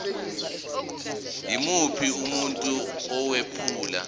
yimuphi umuntu owephula